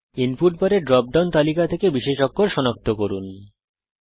দয়া করে input bar এর ড্রপ ডাউন সূচি থেকে বিশেষ অক্ষর সনাক্ত করুন